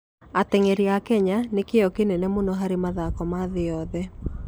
Ateng'eri a Kenya nĩ kĩyo kĩnene mũno harĩ mathako ma thĩ yothe.